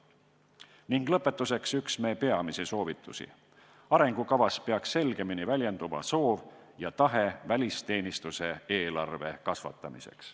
Ning lõpetuseks üks me peamisi soovitusi: arengukavas peaks selgemini väljenduma soov ja tahe välisteenistuse eelarve kasvatamiseks.